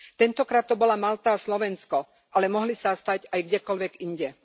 Tentokrát to bola Malta a Slovensko, ale mohli sa stať aj kdekoľvek inde.